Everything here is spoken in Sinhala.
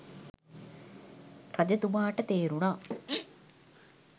රජතුමාට තේරුණා